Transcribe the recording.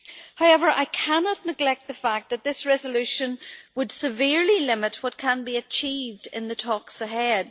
However, I cannot neglect the fact that this resolution would severely limit what can be achieved in the talks ahead.